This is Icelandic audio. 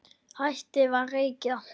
Hættið að reykja!